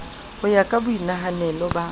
ho ya ka boinahanelo ba